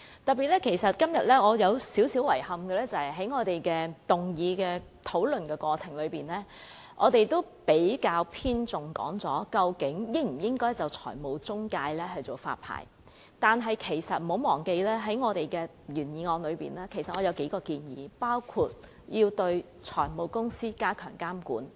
可是，今天我仍感到有點遺憾，就是在整個議案辯論過程中，我們較為偏重討論應否就財務中介推行發牌制度，但請大家不要忘記，在我的原議案中仍有數項建議，其中包括對財務公司加強監管。